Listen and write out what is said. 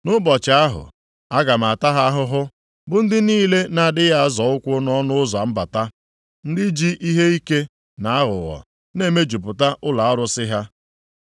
Nʼụbọchị ahụ, aga m ata ha ahụhụ bụ ndị niile na-adịghị azọ ụkwụ nʼọnụ ụzọ mbata, + 1:9 Ndị na-amafe mbata ọnụ ụzọ + 1:9 Gụọ \+xt 1Sa 5:5\+xt* ndị ji ihe ike na aghụghọ na-emejupụta ụlọ arụsị ha.